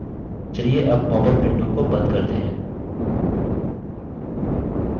चलिए अब popup window को बंद करते हैं